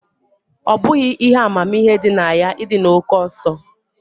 Ọ bụghị ihe amamihe dị na ya ịdị na oke ọsọ